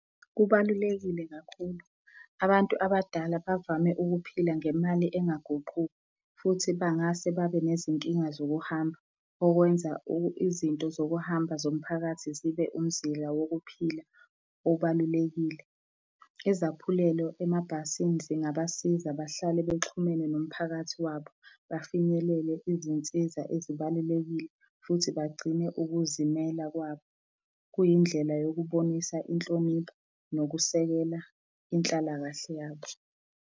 Kubalulekile kakhulu. Abantu abadala bavame ukuphila ngemali engaguquki futhi bangase babe nezinkinga zokuhamba okwenza izinto zokuhambisa zomphakathi zibe umzila wokuphila obalulekile. Izaphulelo emabhasini zingabasiza bahlale bexhumene nomphakathi wabo, bafinyelele izinsiza ezibalulekile futhi bagcine ukuzimela kwabo. Kuyindlela yokubonisa inhlonipho nokusekela inhlalakahle yabo.